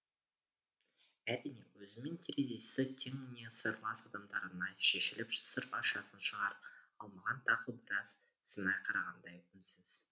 әрине өзімен терезесі тең не сырлас адамдарына шешіліп сыр ашатын шығар ал маған тағы біраз сынай қарағандай үнсіз